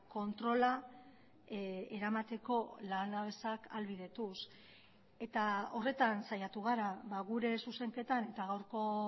kontrola eramateko lanabesak ahalbidetuz eta horretan saiatu gara gure zuzenketan eta gaurko